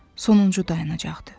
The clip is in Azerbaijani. Sonuncu dayanacaq idi.